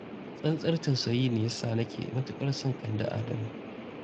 Tsantsar tusayi ne ya sa nake matuƙar son Kande Adamu.